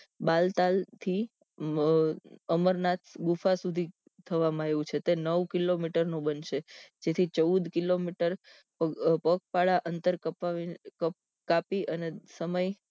બાલતાલ થી મ અમરનાથ બુફા સુધી થવા માં આવ્યું છે તે નવ કિલો મીટર નું બનશે તેથી ચૌદ કિલોમીટર પગપાળા અંતર કપ કાપી અને સમય